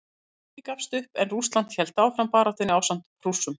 Austurríki gafst upp en Rússland hélt áfram baráttunni ásamt Prússum.